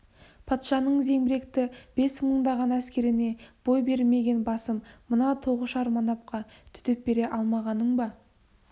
патшаның зеңбіректі бес мыңдаған әскеріне бой бермеген басым мына тоғышар манапқа төтеп бере алмағаның ба